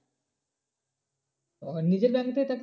ও নিজের bank থেকে